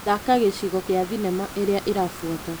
Thaka gĩcigo gĩa thinema ĩrĩa ĩrabuata .